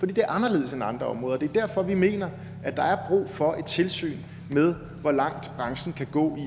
det er anderledes end andre områder og det er derfor vi mener at der er brug for et tilsyn med hvor langt branchen kan gå